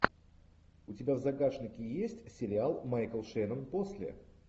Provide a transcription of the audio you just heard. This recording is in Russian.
у тебя в загашнике есть сериал майкл шеннон после